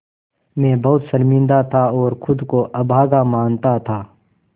मैं बहुत शर्मिंदा था और ख़ुद को अभागा मानता था